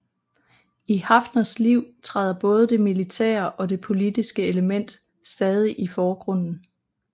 I Haffners liv træder både det militære og det politiske element stadig i forgrunden